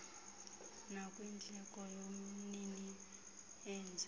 nakwindleko yomnini enze